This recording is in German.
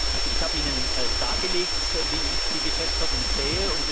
Ich habe Ihnen dargelegt, wie ich die Geschäftsordnung sehe.